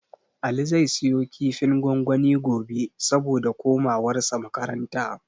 Ali zai siyo kifin gwangwani gobe, saboda komawarsa makaranta.